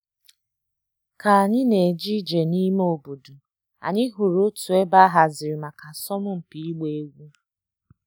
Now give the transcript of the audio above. Ka anyị na-eje ije n'ime ime obodo, anyị hụrụ otu ebe a haziri maka asọmpi ịgba egwu.